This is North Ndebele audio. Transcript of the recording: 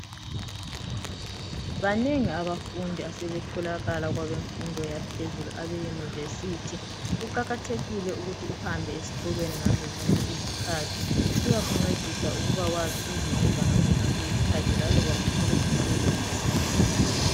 Banengi abafundi asebetholakala kwabemfundo yaphezulu abe yunivesithi. Kuqakathekile ukuthi uhambe esikolweni ngazo zonke isikhathi, kuyakuncedisa ukubakwazi ukuzinceda ngazozonke izikhathi laloba uthole umsebenzi.